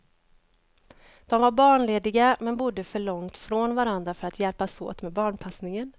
De var barnlediga, men bodde för långt från varandra för att hjälpas åt med barnpassningen.